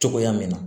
Cogoya min na